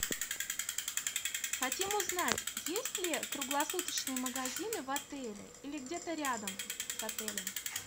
хотим узнать есть ли круглосуточные магазины в отеле или где то рядом с отелем